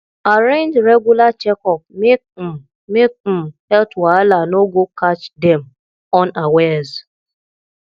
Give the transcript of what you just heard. arrange regular checkup make um make um health wahala no go catch dem unawares